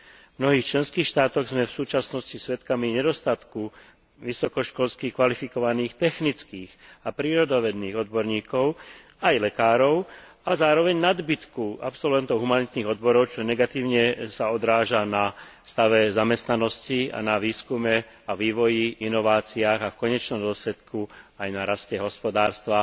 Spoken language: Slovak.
V mnohých členských štátoch sme v súčasnosti svedkami nedostatku vysokoškolských kvalifikovaných technických a prírodovedných odborníkov aj lekárov a zároveň nadbytku absolventov humanitných odborov, čo sa negatívne odráža na stave zamestnanosti a na výskume a vývoji, inováciách a v konečnom dôsledku aj na raste hospodárstva.